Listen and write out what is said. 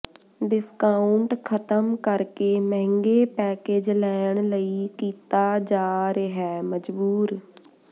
discount ਖ਼ਤਮ ਕਰਕੇ ਮਹਿੰਗੇ ਪੈਕੇਜ ਲੈਣ ਲਈ ਕੀਤਾ ਜਾ ਰਿਹੈ ਮਜਬੂਰ